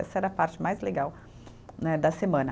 Essa era a parte mais legal né, da semana.